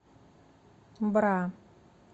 бра